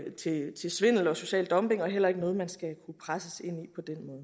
til svindel og social dumping eller noget man skal kunne presses ind